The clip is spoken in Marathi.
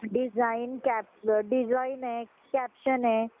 design design हाय caption ये